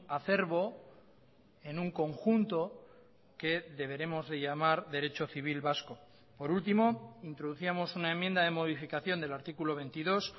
acerbo en un conjunto que deberemos de llamar derecho civil vasco por último introducíamos una enmienda de modificación del artículo veintidós